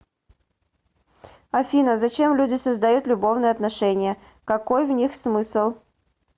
афина зачем люди создают любовные отношения какой в них смысл